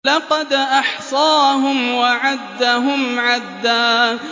لَّقَدْ أَحْصَاهُمْ وَعَدَّهُمْ عَدًّا